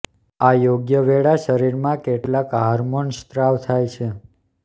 આ યોગ્ય વેળા શરીરમાં કેટલાક હાર્મોન સ્ત્રાવ થાય છે